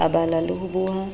a bala le ho boha